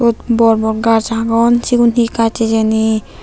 borbor gaas agon sigun hi gaas hijeni.